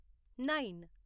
nine